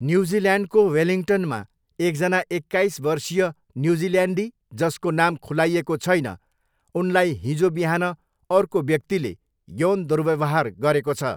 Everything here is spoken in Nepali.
न्युजिल्यान्डको वेलिङ्गटनमा एकजना एक्काइस वर्षीय न्युजिल्यान्डी, जसको नाम खुलाइएको छैन, उनलाई हिजो बिहान अर्को व्यक्तिले यौन दुर्व्यवहार गरेको छ।